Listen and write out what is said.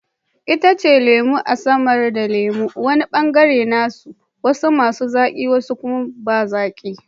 Itacen lemu na samar da lemu, wani bangare nasa, wasu masu zaki wasu kuma ba zaki